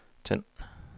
tænd